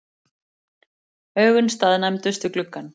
Augun staðnæmdust við gluggann.